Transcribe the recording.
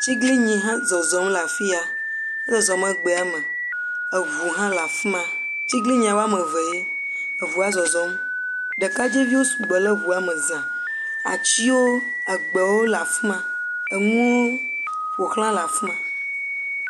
Atiglinyi hã zɔzɔm le afiya, ezɔzɔm me egbea me, eŋu hã le afima. Atiglinyia woame evee, eŋua zɔzɔm, ɖekadze viwo sugbɔ ɖe eŋua me zã, atiwo egbewo le afima, enuwo ƒozla le afima.